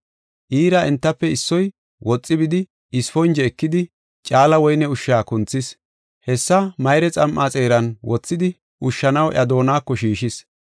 Iira entafe issoy woxi bidi, isponje ekidi, caala woyne ushsha kunthis. Hessa mayre xam7a xeeran wothidi ushshanaw iya doonako shiishis.